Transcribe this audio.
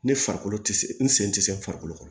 Ne farikolo tɛ se n sen tɛ se farikolo ma